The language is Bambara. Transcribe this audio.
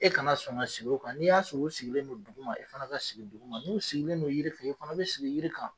E kana sɔn ka sigi o kan n'i y'a sɔrɔ u sigilen no dugu ma e fana ka sigi dugu ma n'u sigilen no yiri kan e fana bɛ sigi yiri kan.